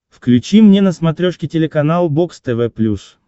включи мне на смотрешке телеканал бокс тв плюс